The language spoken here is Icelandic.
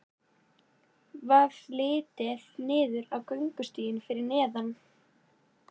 Varð litið niður á göngustíginn fyrir neðan.